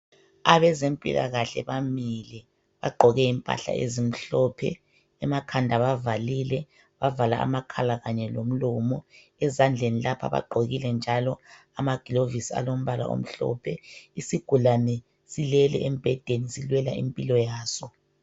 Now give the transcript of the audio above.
Abezempilakahle bamile bagqoke impahla ezimhlophe Emakhanda bavalile bavala amakhala kanye lomlomo. Ezandleni lapha bagqokile njalo amagilovisi alombala omhlophe Isigulane silele embhedeni silwela impilo yaso